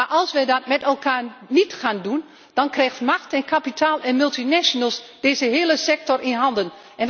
Maar als we dat niet met elkaar gaan doen, dan krijgen macht, kapitaal en multinationals deze hele sector in handen.